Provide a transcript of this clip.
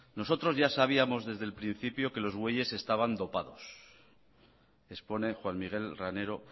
nosotros ya sabíamos desde el principio que los bueyes estaban dopados expone juan miguel ranero